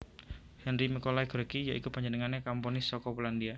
Henryk Mikolaj Gorecki ya iku panjenengané komponis saka Polandia